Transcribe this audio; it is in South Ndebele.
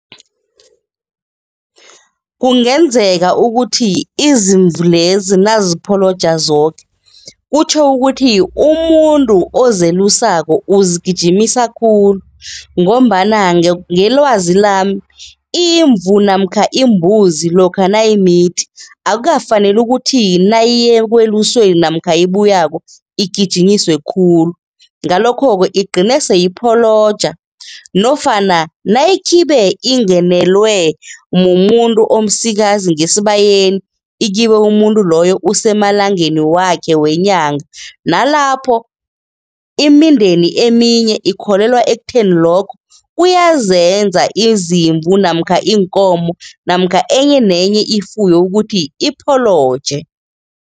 Kungenzeka ukuthi izimvu lezi nazipholoja zoke kutjho ukuthi umuntu ozelusako uzigijimisa khulu ngombana ngelwazi lami, imvu namkha imbuzi lokha nayimithi akukafaneli ukuthi nayiya ekweluseni namkha nayibuyako igijinyiswe khulu. Ngalokho-ke igcine seyipholoja nofana nayikhibe ingenelwe mumuntu omsikazi ngesibayeni, ikhibe umuntu loyo usemalangeni wakhe wenyanga, nalapho imindeni eminye ikholelwa ekutheni lokho kuyazenza izimvu namkha iinkomo namkha enye nenye ifuyo ukuthi ipholoje.